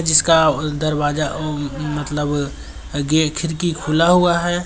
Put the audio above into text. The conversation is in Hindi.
जिसका उ दरवाजा उ मतलब गे खिड़की खुला हुआ है।